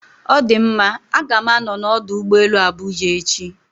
Ọ dị mma, A ga m anọ na ọdụ ụgbọ elu Abuja echi